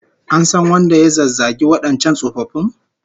An san wanda ya zazzagi wadancan tsofaffin?